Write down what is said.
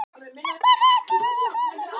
en kunni ekki við að metast um það.